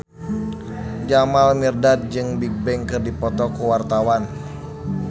Jamal Mirdad jeung Bigbang keur dipoto ku wartawan